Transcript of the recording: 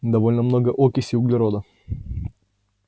довольно много окиси углерода